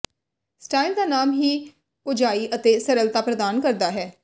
style ਦਾ ਨਾਮ ਹੀ ਕੋਝਾਈ ਅਤੇ ਸਰਲਤਾ ਪ੍ਰਦਾਨ ਕਰਦਾ ਹੈ